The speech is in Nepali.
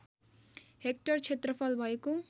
हेक्टर क्षेत्रफल भएको